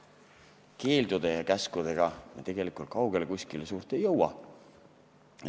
Keeldude ja käskudega me tegelikult kaugele ei jõua.